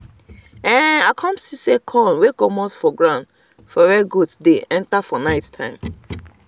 um i come see corn um wey don comot from ground um for where goats dey enter for nighttime